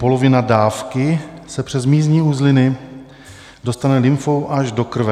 Polovina dávky se přes mízní uzliny dostane lymfou až do krve.